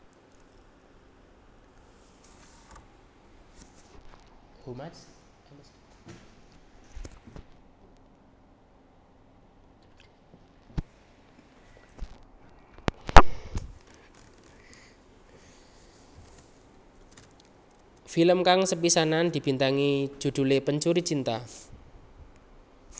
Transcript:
Film kang sepisanan dibintangi judhulé Pencuri Cinta